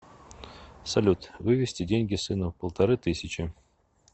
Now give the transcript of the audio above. салют вывести деньги сыну полторы тысячи